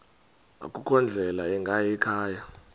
akukho ndlela ingayikhaya